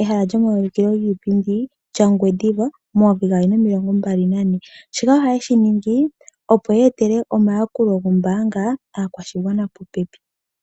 ehala lyomauliko giipindi yaOngwediva 2024, shika ohaye shi ningi, opo ya etele omayakulo gombaanga kaakwashigwana po pepi.